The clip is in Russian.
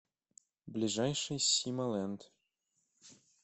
ближайший сима ленд